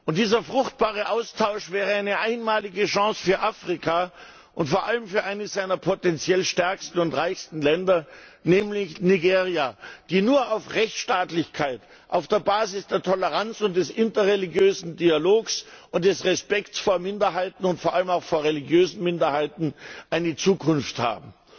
Und dieser fruchtbare Austausch wäre eine einmalige Chance für Afrika und vor allem für eines seiner potenziell stärksten und reichsten Länder, nämlich Nigeria, die nur auf der Basis der Rechtsstaatlichkeit, der Toleranz und des interreligiösen Dialogs und des Respekts vor Minderheiten und vor allem auch vor religiösen Minderheiten eine Zukunft haben.